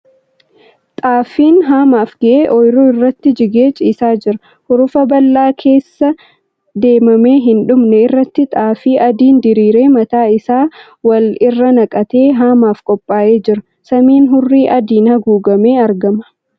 Xaafiin haamaaf ga'e ooyiruu irratti jigee ciisaa jira. Hurufa bal'aa keessa deemamee hin dhumne irratti xaafii adiin diriire mataa isaa wal irra naqatee haamaaf qophaa'ee jira. Samiin hurrii adiin haguugamee argama.